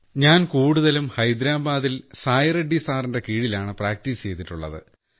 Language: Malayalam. ഞാൻ കൂടുതലും ഹൈദരാബാദിൽ സായ്റെഡ്ഡി സാറിന്റെ കീഴിലാണ് പ്രാക്ടീസ് ചെയ്തിട്ടുള്ളത്